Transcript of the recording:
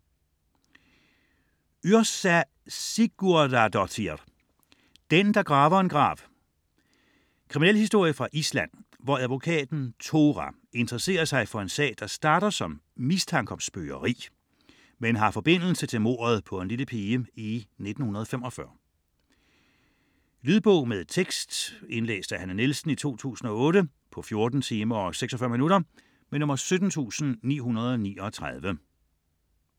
Yrsa Sigurdardóttir: Den der graver en grav Krimi fra Island, hvor advokaten Thora interesserer sig for en sag, der starter som mistanke om spøgeri, men har forbindelse til mordet på en lille pige i 1945. Lydbog med tekst 17939 Indlæst af Hanne Nielsen, 2008. Spilletid: 14 timer, 46 minutter.